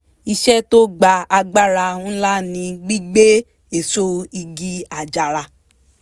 iṣẹ́ tó gba agbára ńlá ni gbígbé èso igi àjàrà